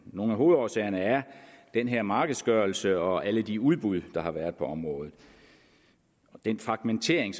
nogle af hovedårsagerne er den her markedsgørelse og alle de udbud der har været på området og den fragmentering